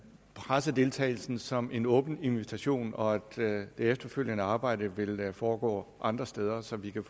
pressedeltagelsen som en åben invitation og at det efterfølgende arbejde vil foregå andre steder så vi kan